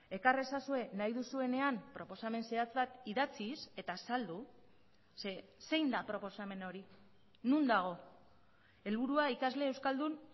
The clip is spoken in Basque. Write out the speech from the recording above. ekar ezazue nahi duzuenean proposamen zehatzak idatziz eta azaldu ze zein da proposamen hori non dago helburua ikasle euskaldun